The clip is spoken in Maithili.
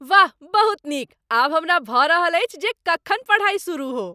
वाह, बहुत नीक! आब हमरा भऽ रहल अछि जे कखन पढ़ाइ सुरुह हो।